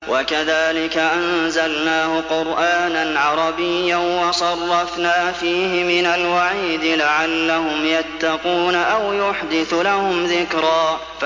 وَكَذَٰلِكَ أَنزَلْنَاهُ قُرْآنًا عَرَبِيًّا وَصَرَّفْنَا فِيهِ مِنَ الْوَعِيدِ لَعَلَّهُمْ يَتَّقُونَ أَوْ يُحْدِثُ لَهُمْ ذِكْرًا